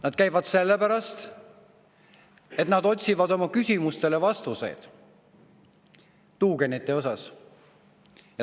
Nad käivad sellepärast, et nad otsivad vastuseid oma küsimustele tuugenite kohta.